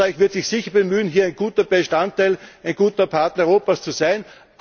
Österreich wird sich sicher bemühen, hier ein guter Bestandteil, ein guter Partner Europas zu sein.